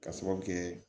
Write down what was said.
Ka sababu kɛ